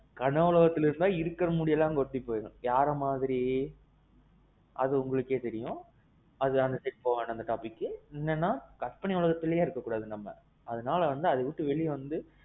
கனவுலகத்திலேயே இருந்தா இருக்குற முடி எல்லாம் கொட்டி போயிரும். யாரு மாதிரி? அது உங்களுக்கே தெரியும். அது அந்த side போவேண்டாம் அந்த topicக்கு. என்னன்னா கற்பனை உலகத்திலேயே இருக்க கூடாது நம்ம. அதனால வந்து அத விட்டு வெளிய வந்து